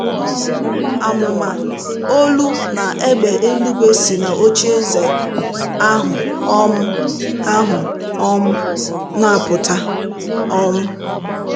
um Àmụ̀mà, olu na égbè eluigwe si n’ocheeze ahụ um ahụ um na - apụta... um